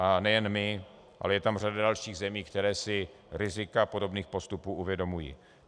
A nejen my, ale je tam řada dalších zemí, které si rizika podobných postupů uvědomují.